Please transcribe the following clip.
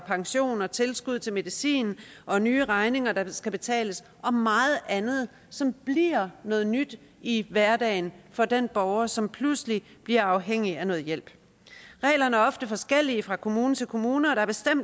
pension og tilskud til medicin og nye regninger der skal betales og meget andet som bliver noget nyt i hverdagen for den borger som pludselig bliver afhængig af noget hjælp reglerne er ofte forskellige fra kommune til kommune og